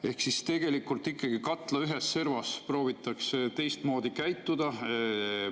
Ehk tegelikult katla ühes servas proovitakse teistmoodi käituda.